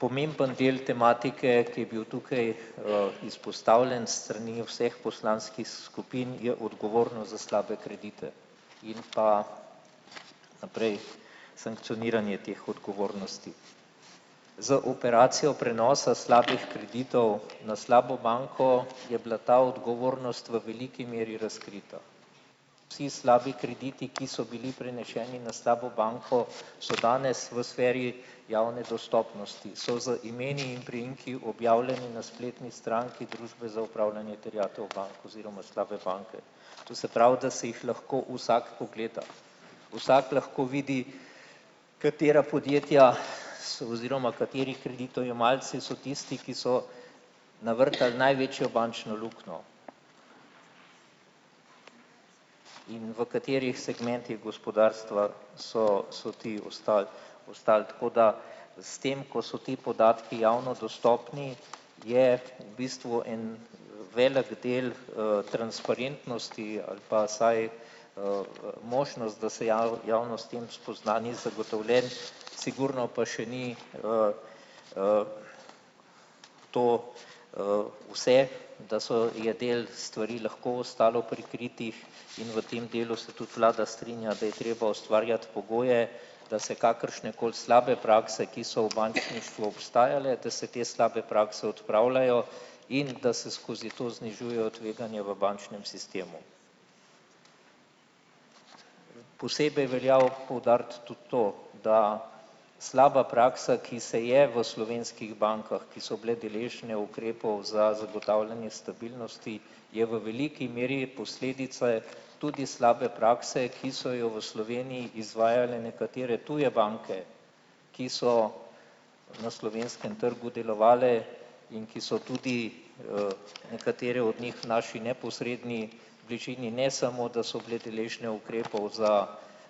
Pomemben del tematike, ki je bil tukaj, izpostavljen s strani vseh poslanskih skupin, je odgovornost za slabe kredite in pa naprej sankcioniranje teh odgovornosti. Z operacijo prenosa slabih kreditov na slabo banko je bila ta odgovornost v veliki meri razkrita. Vsi slabi krediti, ki so bili preneseni na slabo banko, so danes v sferi javne dostopnosti. So z imeni in priimki objavljeni na spletni stranki Družbe za opravljanje terjatev bank oziroma slabe banke. To se pravi, da si jih lahko vsak pogleda. Vsak lahko vidi, katera podjetja so oziroma kateri kreditojemalci so tisti, ki so navrtali največjo bančno luknjo. In v katerih segmentih gospodarstva so so ti ostali ostali, tako da s tem, ko so ti podatki javno dostopni, je bistvu en velik del, transparentnosti ali pa vsaj, možnost, da se javnost s tem spozna, ni zagotovljen, sigurno pa še ni, to, vse, da so je del stvari lahko ostalo prikritih, in v tem delu se tudi vlada strinja, da je treba ustvarjati pogoje, da se kakršnekoli slabe prakse, ki so v bančništvu obstajale, da se te slabe prakse odpravljajo in da se skozi to znižujejo tveganja v bančnem sistemu. Posebej velja poudariti tudi to, da slaba praksa, ki se je v slovenskih bankah, ki so bile deležne ukrepov za zagotavljanje stabilnosti, je v veliki meri posledica tudi slabe prakse, ki so jo v Sloveniji izvajale nekatere tuje banke, ki so na slovenskem trgu delovale in ki so tudi, nekatere od njih naši neposredni bližini ne samo, da so bile deležne ukrepov za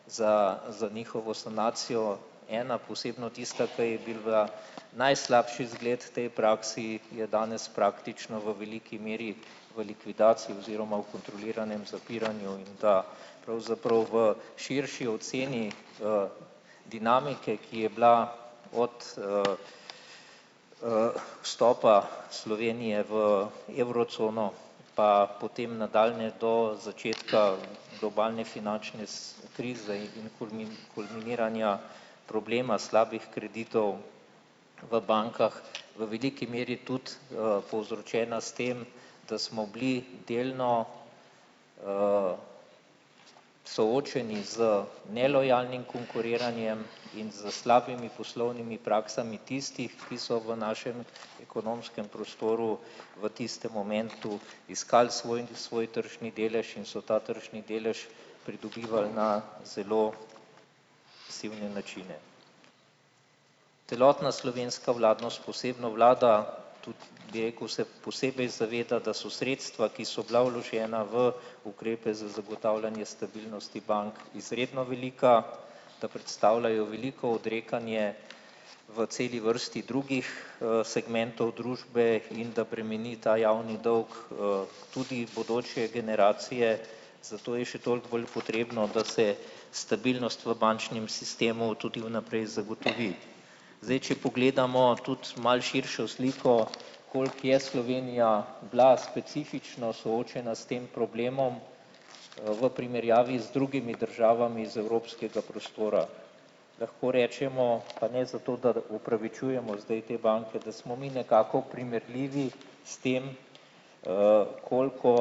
za za njihovo sanacijo, ena, posebno tista, ki je bila najslabši zgled tej praksi, je danes praktično v veliki meri v likvidaciji oziroma v kontroliranem zapiranju, in da pravzaprav v širši oceni, dinamike, ki je bila od, vstopa Slovenije v evrocono pa potem nadaljnje do začetka globalne finančne krize in kulminiranja problema slabih kreditov v bankah v veliki meri tudi, povzročena s tem, da smo bili delno, soočeni z nelojalnim konkuriranjem in s slabimi poslovnimi praksami tistih, ki so v našem ekonomskem prostoru v tistem momentu iskali svoj svoj tržni delež in so ta tržni delež pridobivali na zelo sivne načine. Celotna slovenska vladna s posebno vlado tudi, bi rekel, se posebej zaveda, da so sredstva, ki so bila vložena v ukrepe za zagotavljanje stabilnosti bank, izredno velika, da predstavljajo veliko odrekanje v celi vrsti drugih, segmentov družbe in da bremeni ta javni dolg, tudi bodoče generacije, zato je še toliko bolj potrebno, da se stabilnost v bančnem sistemu tudi vnaprej zagotovi. Zdaj, če pogledamo tudi malo širšo sliko, koliko je Slovenija bila specifično soočena s tem problemom, v primerjavi z drugimi državami iz evropskega prostora. Lahko rečemo pa ne zato, da opravičujemo zdaj te banke, da smo mi nekako primerljivi s tem, koliko,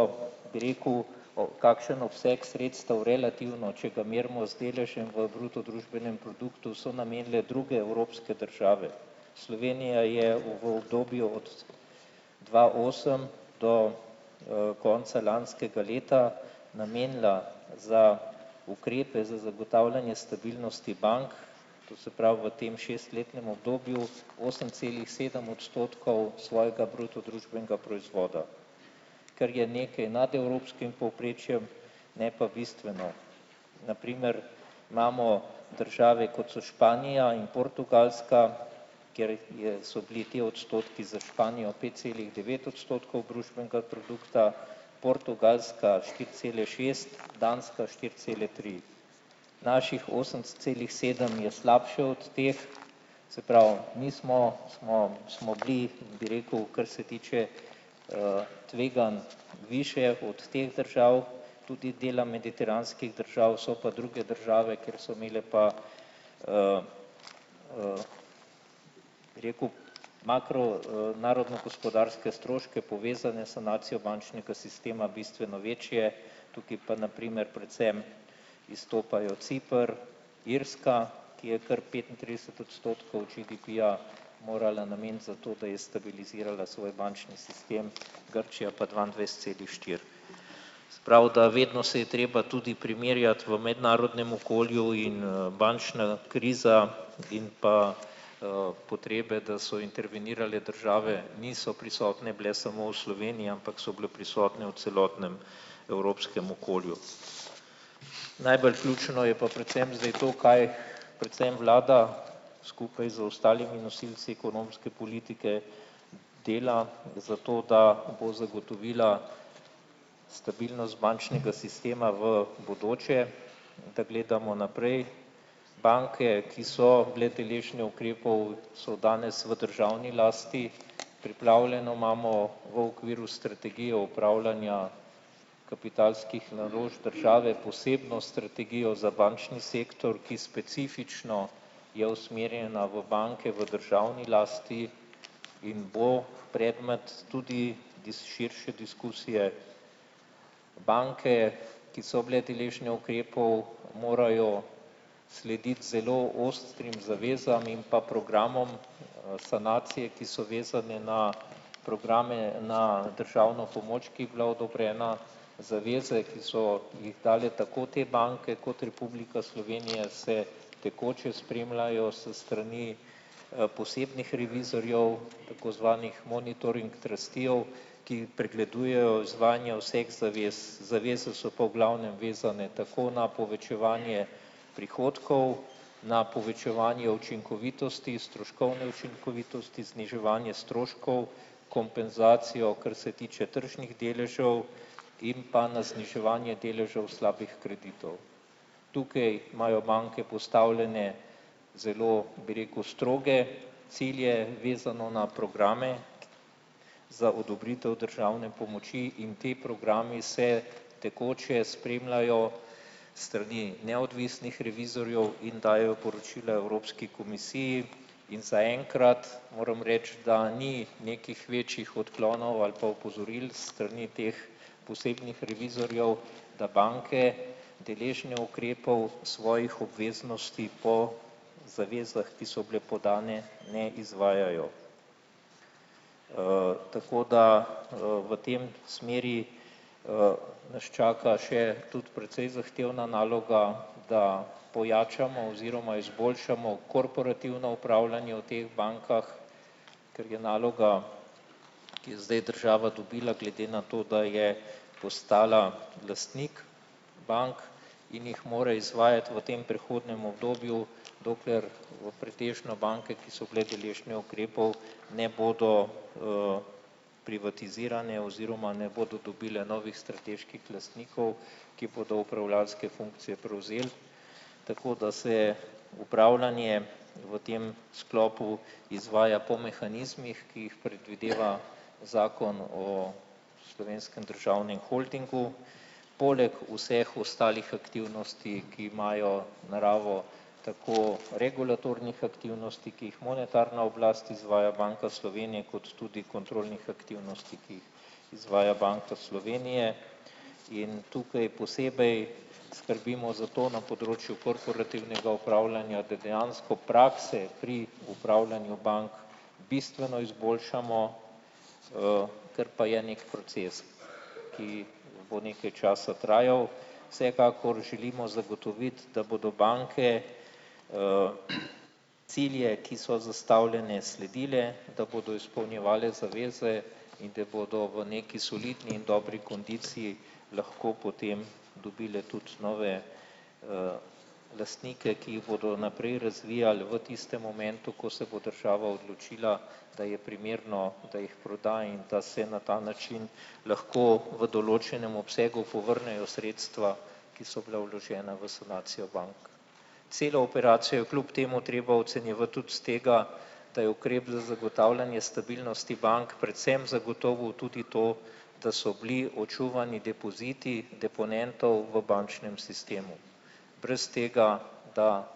bi rekel, o kakšnem obsegu sredstev relativno, če ga merimo z deležem v bruto družbenem produktu, so namenile druge evropske države. Slovenija je v v obdobju dva osem do, konca lanskega leta namenila za ukrepe za zagotavljanje stabilnosti bank, to se pravi v tem šestletnem obdobju osem celih sedem odstotkov svojega bruto družbenega proizvoda. Ker je nekaj nad evropskim povprečjem, ne pa bistveno. Na primer, imamo države, kot sta Španija in Portugalska, ker je so bili ti odstotki za Španijo pet celih devet odstotkov družbenega produkta, Portugalska štiri cele šest, Danska štiri cele tri. Naših osem celih sedem je slabše od teh, se pravi, mi smo smo smo bili, bi rekel, kar se tiče, tveganj, višje od teh držav, tudi dela mediteranskih držav, so pa druge države, ker so imele pa, rekel, makro, narodnogospodarske stroške, povezane sanacijo bančnega sistema, bistveno večje, tukaj pa na primer predvsem izstopajo Ciper, Irska, ki je kar petintrideset odstotkov GDP-ja morala nameniti za to, da je stabilizirala svoj bančni sistem, Grčija pa dvaindvajset celih štiri. Prav, da vedno se je treba tudi primerjati v mednarodnem okolju in, bančna kriza in pa, potrebe, da so intervenirale države, niso prisotne bile samo v Sloveniji, ampak so bile prisotne v celotnem evropskem okolju. Najbolj ključno je pa predvsem zdaj to, kaj predvsem vlada skupaj z ostalimi nosilci ekonomske politike dela za to, da bo zagotovila stabilnost bančnega sistema v bodoče. Da gledamo naprej banke, ki so bile deležne ukrepov, so danes v državni lasti, pripravljeno imamo v okviru strategije upravljanja kapitalskih naložb države posebno strategijo za bančni sektor, ki specifično je usmerjena v banke v državni lasti in bo predmet tudi širše diskusije. Banke, ki so bile deležne ukrepov, morajo slediti zelo ostrim zavezam in pa programom, sanacije, ki so vezane na programe na državno pomoč, ki je bila odobrena. Zaveze, ki so jih dali tako te banke kot Republika Slovenija se tekoče spremljajo s strani, posebnih revizorjev, tako zvanih monitoring trusteejev, ki pregledujejo izvajanje vseh zavez. Zaveze so pa v glavnem vezane tako na povečevanje prihodkov, na povečevanje učinkovitosti, stroškovne učinkovitosti, zniževanje stroškov, kompenzacijo, kar se tiče tržnih deležev, in pa na zniževanje deležev slabih kreditov. Tukaj imajo banke postavljene zelo, bi rekel, stroge cilje, vezano na programe za odobritev državne pomoči, in ti programi se tekoče spremljajo strani neodvisnih revizorjev in dajejo poročila Evropski komisiji, in zaenkrat moram reči, da ni nekih večjih odklonov ali pa opozoril strani teh posebnih revizorjev, da banke, deležne ukrepov svojih obveznosti po zavezah, ki so bile podane, ne izvajajo. Tako da, v tej smeri, nas čaka še tudi precej zahtevna naloga, da pojačamo oziroma izboljšamo korporativno upravljanje v teh bankah, ker je naloga, ki je zdaj država dobila, glede na to, da je postala lastnik bank, in jih more izvajati v tem prehodnem obdobju, dokler v pretežno banke, ki so bile deležne ukrepov, ne bodo, privatizirane oziroma ne bodo dobile novih strateških lastnikov, ki bodo upravljavske funkcije prevzeli tako, da se upravljanje v tem sklopu izvaja po mehanizmih, ki jih predvideva zakon o Slovenskem državnem holdingu poleg vseh ostalih aktivnosti, ki imajo naravo tako regulatornih aktivnosti, ki jih monetarna oblast izvaja, Banka Slovenije, kot tudi kontrolnih aktivnosti, ki izvaja Banka Slovenije, in tukaj posebej skrbimo za to na področju korporativnega upravljanja, da dejansko prakse pri opravljanju bank bistveno izboljšamo, ker pa je neki proces, ki bo nekaj časa trajal, vsekakor želimo zagotoviti, da bodo banke, cilje, ki so zastavljeni, sledile, da bodo izpolnjevale zaveze in da bodo v nekaj solidni in dobri kondiciji lahko potem dobile tudi nove, lastnike, ki jih bodo naprej razvijali, v tistem momentu, ko se bo država odločila, da je primerno, da jih proda in da se na ta način lahko v določenem obsegu povrnejo sredstva, ki so bila vložena v sanacijo bank. Celo operacijo je kljub temu treba ocenjevati tudi s tega, da je ukrep za zagotavljanje stabilnosti bank predvsem zagotovil tudi to, da so bili očuvani depoziti deponentov v bančnem sistemu. Brez tega, da,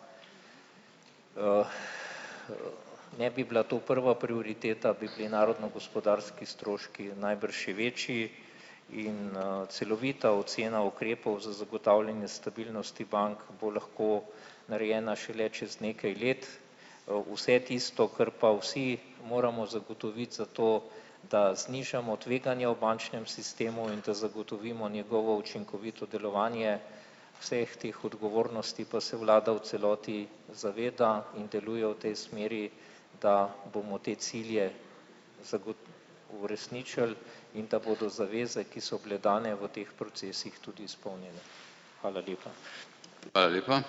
ne bi bila to prva prioriteta, bi bili narodno gospodarski stroški najbrž še večji in, celovita ocena ukrepov za zagotavljanje stabilnosti bank bo lahko narejena šele čez nekaj let, vse tisto, kar pa vsi moramo zagotoviti za to, da znižamo tveganja v bančnem sistemu in da zagotovimo njegovo učinkovito delovanje, vseh teh odgovornosti pa se vlada v celoti zaveda in deluje v tej smeri, da bomo te cilje uresničili in da bodo zaveze, ki so bile dane v teh procesih, tudi izpolnjene. Hvala lepa.